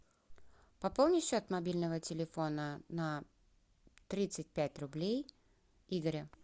пополни счет мобильного телефона на тридцать пять рублей игоря